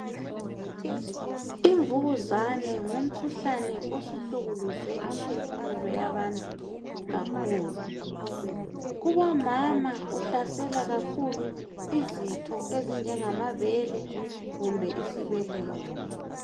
Imvukuzane ngumkhuhlane osuhlukuluze imphefumulo yabantu kakhulu. Kubomama uhlasela izitho ezinjengamabele kumbe isibeletho.